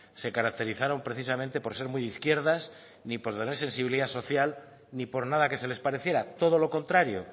se caracterizaron precisamente por ser de izquierdas ni por tener sensibilidad social ni por nada que les pareciera todo lo contrario